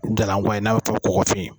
Jalan kɔwa in n'a bɛ fɔ kɔgɔfin